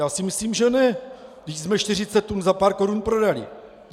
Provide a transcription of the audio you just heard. Já si myslím, že ne, vždyť jsme 40 tun za pár korun prodali.